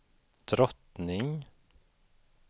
drottning